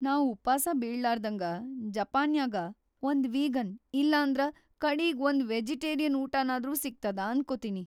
ನಾವ್‌ ಉಪಾಸ ಬೀಳ್ಲಾರ್ದ್ಹಂಗ ಜಪಾನ್ಯಾಗ ಒಂದ್‌ ವೀಗನ್‌ ಇಲ್ಲಂದ್ರ ಕಡೀಗ್ ಒಂದ್‌ ವೆಜಿಟೇರಿನ್ ಊಟ‌ನಾದ್ರೂ ಸಿಗ್ತದ ಅನ್ಕೋತೀನಿ.